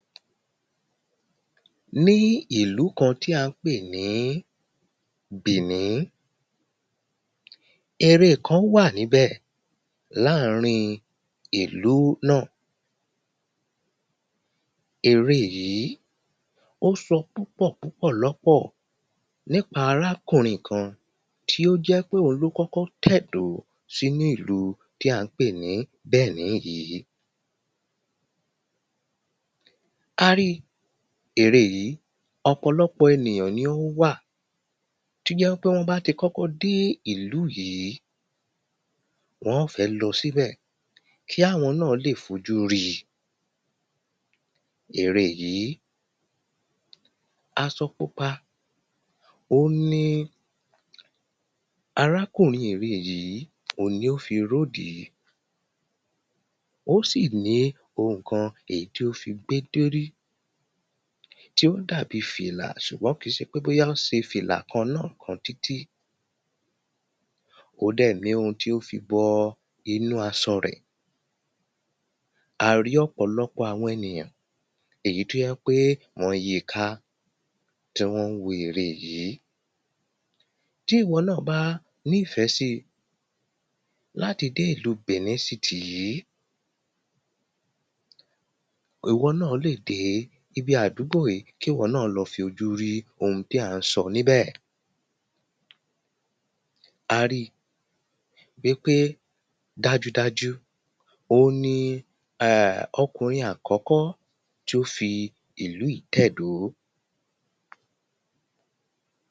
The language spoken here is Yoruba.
ní ìlú kan tí a ń pè ní bìní ère kan wà ní bẹ̀, láàrín ìlú náà ère yìí ó sọ púpọ̀ púpọ̀ lọ́pọ̀ nípa arákùnrin kan tí ó jẹ́ ípé òhun ló kọ́kọ́ tẹ̀dọ́ sí inú ìlú tí a ń pè ní bìní yìí kárí ère yìí, ọ̀pọ̀lọ́pọ̀ ènìyàn ni ó wà tó jẹ́ wí pé wọ́n bá ti kọ́kọ́ dé ìlú yìí wọ́n ọ́n fẹ́ lọ síbẹ̀ kí àwọn náà lè fojú ríi ère yìí asọ pupa òhun ni arákùnrin ère yìí, òhun ni ó fi ródìí ó sì ní ohun kan èyí tí ó fi gbé dóri tí ó dà bíi fìlà ṣùgbọ́n kìí ṣe pé bóyá ó ṣe fìlà kan lọ títí ó dẹ̀ níhun tí ó fi bọ inú asọ rẹ̀. a rí ọ̀pọ̀lọ́pọ̀ àwọn ènìyàn èyí tó jẹ́ ípé wọ́n yíi ká tí wọ́n wo ère yìí tí ìwọ náà bá ní ìfẹ́ si láti dé ìlú bìní sitì yí ìwọ náà lè dé ibi àdúgbò yìí kí ìwọ náà lọ fi ojú rí ohun tí a ń sọ níbẹ̀ a rí i pé dájúdájú, ohun ni okùnrin àkọ́kọ́ tí ó fi ìlú yìí tẹ̀dó